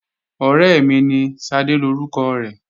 Ọ̀rẹ́ mi ní, Ṣadé lórúkọ rẹ̀